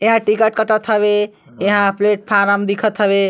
एहा टिकट कटत हवे यहाँ प्लेटफार्म दिखत हवे।